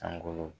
Sankolo